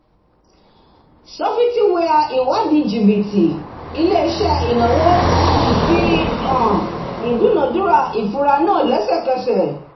sọfitiwia ìwádìí jìbítì ilé-iṣẹ́ ináwó fi hàn ìdúnàdúrà ìfura náà lẹ́sẹ̀kẹsẹ̀